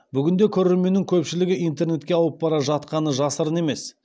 бүгінде көрерменнің көпшілігі интернетке ауып бара жатқаны жасырын емес